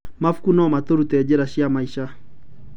Mabuku no marute njĩra cia maica.